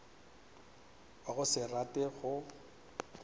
wa go se rate go